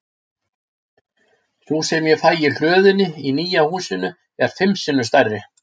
Sú sem ég fæ í hlöðunni í nýja húsinu er fimm sinnum stærri.